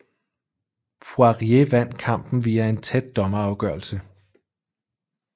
Poirier vandt kampen via en tæt dommerafgørelse